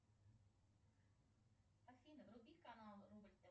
афина вруби канал рубль тв